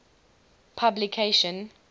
publication